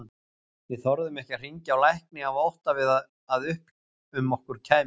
Við þorðum ekki að hringja á lækni af ótta við að upp um okkur kæmist.